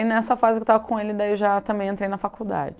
E nessa fase que eu estava com ele, daí já também entrei na faculdade.